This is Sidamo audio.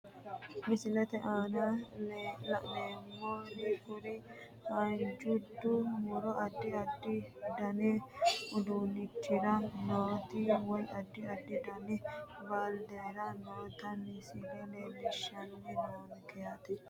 Misilete aana laneemori kuri haanjude muro adi adi dani uduunichira nooti woyi adi adi dani baaldera noota misile leelishani noonke yaate.